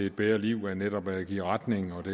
et bedre liv netop angiver retningen og det